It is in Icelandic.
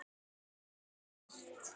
Þarf alltaf að gera allt.